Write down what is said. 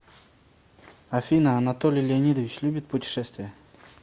афина анатолий леонидович любит путешествия